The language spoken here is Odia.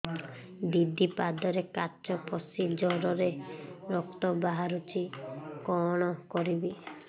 ଦିଦି ପାଦରେ କାଚ ପଶି ଜୋରରେ ରକ୍ତ ବାହାରୁଛି କଣ କରିଵି